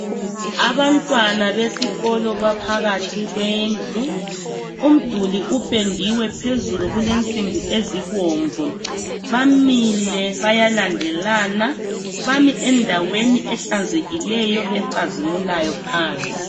Abantwana besikolo baphakathi kwendlu. Umduli upendiwe phezulu, kulensimbi ezibomvu. Bamile bayalandelana. Bami endaweni ehlanzekileyo ecazimulayo phansi.